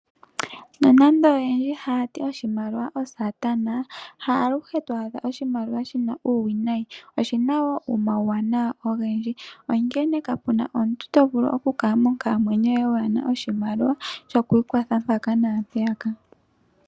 Nonando oyendji hayati oshimaliwa osaatana, ha alushe to adha oshimaliwa shina uuwinayi, oshina wo omawuwanawa ogendji, onkene kapuna omuntu tovulu okukala monkalamwenyo yoye waana oshimaliwa shokwiikwatha mpaka naampeyaka.